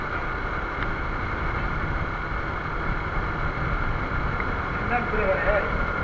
দিন রাত ঘুরে বেড়ায় ওই